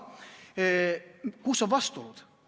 Aga kus on vastuolud?